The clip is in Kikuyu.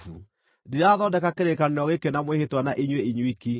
Ndirathondeka kĩrĩkanĩro gĩkĩ na mwĩhĩtwa na inyuĩ inyuiki,